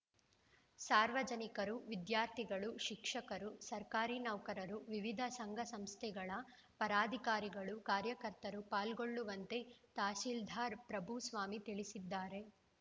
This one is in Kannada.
ಸಾರ್ವಜನಿಕರು ವಿದ್ಯಾರ್ಥಿಗಳು ಶಿಕ್ಷಕರು ಸರ್ಕಾರಿ ನೌಕರರು ವಿವಿಧ ಸಂಘ ಸಂಸ್ಥೆಗಳ ಪದಾಧಿಕಾರಿಗಳು ಕಾರ್ಯಕರ್ತರು ಪಾಲ್ಗೊಳ್ಳುವಂತೆ ತಹಶೀಲ್ದಾರ್‌ ಪ್ರಭುಸ್ವಾಮಿ ತಿಳಿಸಿದ್ದಾರೆ